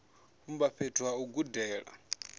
vhumba fhethu ha u gudela